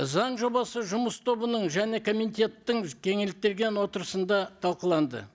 заң жобасы жұмыс тобының және комитеттің кеңейтілген отырысында талқыланды